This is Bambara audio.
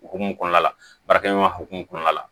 Hokumu kɔnɔna la baarakɛ ɲɔgɔnya hokumu kɔnɔna la